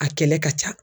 A kɛlɛ ka ca